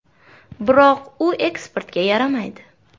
Biroq u eksportga yaramaydi.